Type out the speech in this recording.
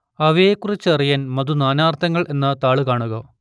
അവയെക്കുറിച്ചറിയാൻ മധു നാനാർത്ഥങ്ങൾ എന്ന താൾ കാണുക